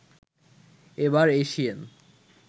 এবার এসিয়েন